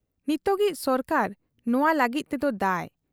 ᱱᱤᱛᱚᱜᱤᱡ ᱥᱚᱨᱠᱟᱨ ᱱᱚᱶᱟ ᱞᱟᱹᱜᱤᱫ ᱛᱮᱫᱚ ᱫᱟᱹᱭ ᱾